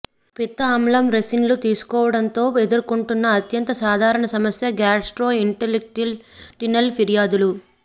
పిత్త ఆమ్లం రెసిన్లు తీసుకోవడంతో ఎదుర్కొంటున్న అత్యంత సాధారణ సమస్య గ్యాస్ట్రోఇంటెస్టినల్ ఫిర్యాదులు